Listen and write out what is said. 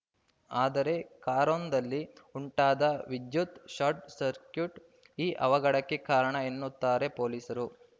ಆದರೆ ಕಾರೊಂದಲ್ಲಿ ಉಂಟಾದ ವಿದ್ಯುತ್‌ ಶಾರ್ಟ್‌ ಸರ್ಕಿಟ್‌ ಈ ಅವಘಡಕ್ಕೆ ಕಾರಣ ಎನ್ನುತ್ತಾರೆ ಪೊಲೀಸರು